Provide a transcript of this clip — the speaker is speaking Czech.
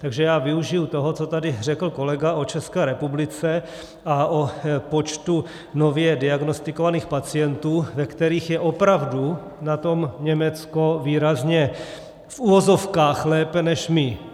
Takže já využiji toho, co tady řekl kolega o České republice a o počtu nově diagnostikovaných pacientů, ve kterých je opravdu na tom Německo výrazně v uvozovkách lépe než my.